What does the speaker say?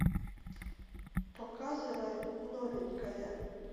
показывай новенькая